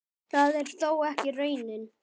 Það er þó ekki raunin.